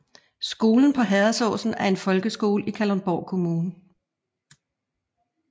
Skolen på Herredsåsen er en folkeskole i Kalundborg Kommune